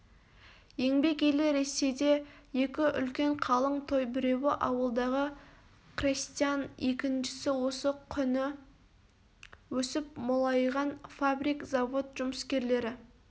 еңбек елі ресейде екі үлкен қалың той біреуі ауылдағы қрестьян екіншісі осы құні өсіп молайған фабрик-завод жұмыскерлері